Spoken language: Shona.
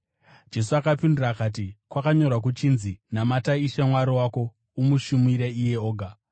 Jesu akapindura akati, “Kwakanyorwa kuchinzi, ‘Namata Ishe Mwari wako umushumire iye oga.’ ”